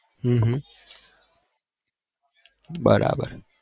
હમ હમમ બરાબર